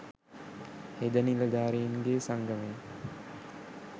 හෙද නිලධාරින්ගේ සංගමය